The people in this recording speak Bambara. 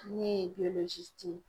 Ne ye ye.